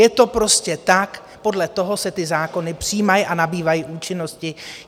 Je to prostě tak, podle toho se ty zákony přijímají a nabývají účinnosti.